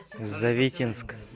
завитинск